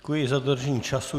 Děkuji za dodržení času.